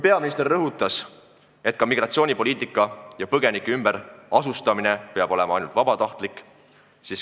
Peaminister rõhutas, et migratsioonipoliitika ja põgenike ümberasustamine peab rajanema vabatahtlikkusel.